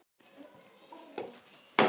Því fylgdi ég hinum eftir.